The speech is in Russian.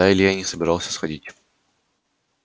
а илья и не собирался сходить